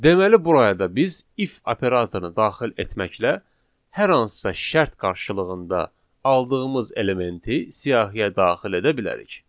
Deməli buraya da biz if operatorunu daxil etməklə hər hansısa şərt qarşılığında aldığımız elementi siyahıya daxil edə bilərik.